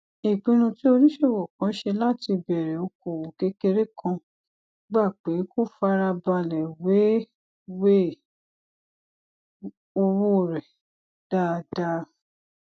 ìpinnu tí oníṣòwò kan ṣe láti bèrè okòwò kékeré kan gba pé kó fara balè wéwèé owó rè dáadáa